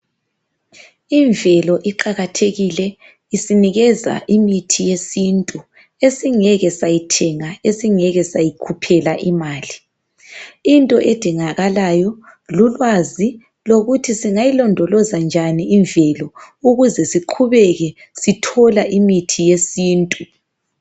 Imvelo iqakathekile isinikeza imithi yesintu esingeke sayithenga esingeke sayikhuphela imali into edingakalayo lulwazi lokuthi singayilondoloza njani imvelo ukuze siqhubeke sithola imithi yesintu .